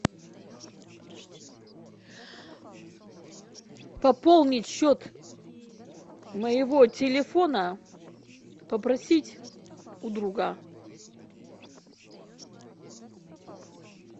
пополнить счет моего телефона попросить у друга